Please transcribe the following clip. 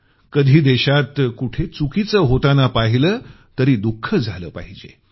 कधी देशात कुठे चुकीचं होताना पाहीलं तरी दुख झालं पाहिजे